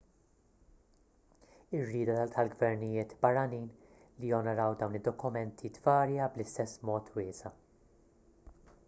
ir-rieda tal-gvernijiet barranin li jonoraw dawn id-dokumenti tvarja bl-istess mod wiesa'